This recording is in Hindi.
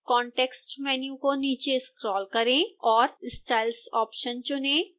context menu को नीचे स्क्रोल करें और styles ऑप्शन चुनें